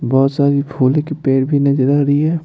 बहुत सारी फूल की पैर भी नजर आ रही है।